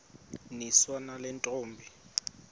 niswa nale ntombi